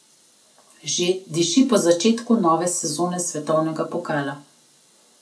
Že diši po začetku nove sezone svetovnega pokala!